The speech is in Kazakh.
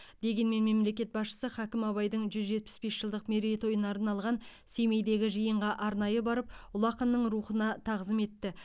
дегенмен мемлекет басшысы хакім абайдың жүз жетпіс бес жылдық мерейтойына арналған семейдегі жиынға арнайы барып ұлы ақынның рухына тағзым етті